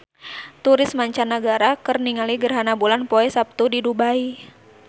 Turis mancanagara keur ningali gerhana bulan poe Saptu di Dubai